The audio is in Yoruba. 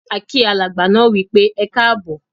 A kí alàgbà náà wípé "Ẹkáábọ̀".